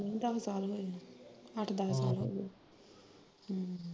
ਦੱਸ ਸਾਲ ਹੋਏ ਅੱਠ ਦਸ ਸਾਲ ਹੋਏ ਆ ਹਮ